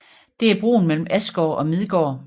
Det er broen mellem Asgård og Midgård